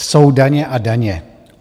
Jsou daně a daně.